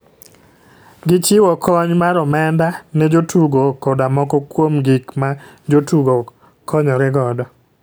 Gi chiwo kony mar omenda ne jotugo koda moko kuom gik ma jotugo konyore godo.